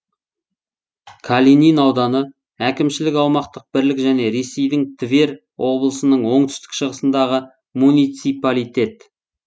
калинин ауданы әкімшілік аумақтық бірлік және ресейдің тверь облысының оңтүстік шығысындағы муниципалитет